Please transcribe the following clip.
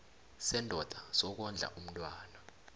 sendoda sokondla umntwana